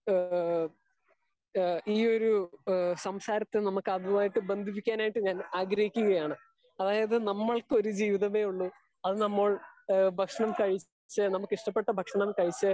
Speaker 2 ഏഹ് ഈ ഒര് സംസാരത്തിൽ നമുക്ക് അതുമായി ബന്ധിപ്പിക്കാൻ ആയിട്ട് ഞാൻ ആഗ്രഹിക്കുകയാണ്. അതായത് നമ്മൾക്ക് ഒര് ജീവിതെ ഉള്ളു അത് നമ്മൾ ഭക്ഷണം കഴിച്ച് നമുക്ക് ഇഷ്ടപ്പെട്ട ഭക്ഷണം കഴിച്ച്